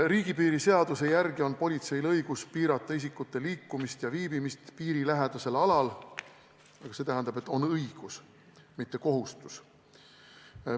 Riigipiiri seaduse järgi on politseil õigus piirata isikute liikumist ja viibimist piirilähedasel alal, aga see tähendab, et on õigus, mitte kohustus.